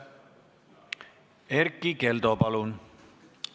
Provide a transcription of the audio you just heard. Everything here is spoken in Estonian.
Erkki Keldo, palun!